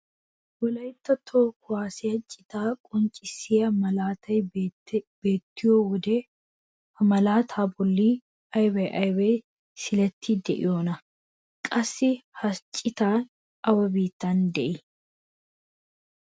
wolaytta toho kuwaasiyaa citaa qonccisiyaa maalatay beettiyoo wode ha malataa bolli ayba ayba siileti de'iyoonaa? qassi ha ciitay awa biittan de'ii?